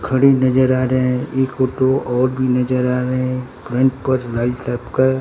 खड़ी नजर आ रहे हैं एक ऑटो और भी नजर आ रहे हैं फ्रंट पर लाल टाइप का --